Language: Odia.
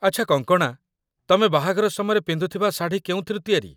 ଆଚ୍ଛା କଙ୍କଣା, ତମେ ବାହାଘର ସମୟରେ ପିନ୍ଧୁଥିବା ଶାଢ଼ୀ କେଉଁଥିରୁ ତିଆରି?